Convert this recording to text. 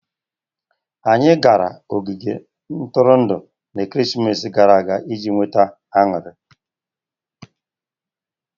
Anyị gara n'ogige Ntụrụndụ na-ekeresimesi gara aga iji nweta aṅụrị.